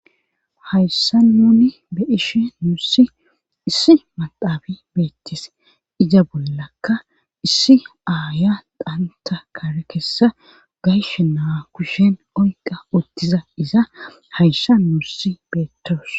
Hayssan nuuni be'ishin nuusi issi maxxafi beetees. iza bollakka issi aayiya xantta kare kessa gashshe na'a kushen oyqqa uttida iza hayssan nuussi beetawus.